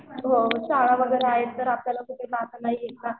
हो शाळा वगैरे आहेत आपल्याला कुठे जाता नाही येत ना